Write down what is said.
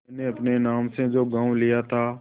मैंने अपने नाम से जो गॉँव लिया था